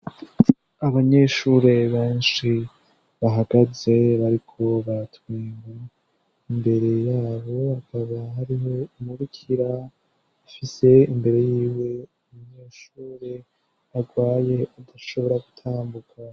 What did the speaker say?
Abanyeshure benshi bahagaze bariko baratwenga, imbere yabo hakaba hari umubikira afise imbere yiwe umunyeshure agwaye adashobora gutambuka.